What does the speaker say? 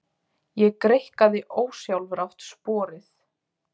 Ég greikkaði ósjálfrátt sporið.